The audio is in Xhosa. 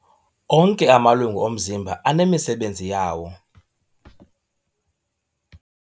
Onke amalungu omzimba anemisebenzi yawo.